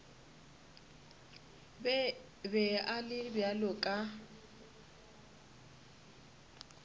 be a le bjalo ka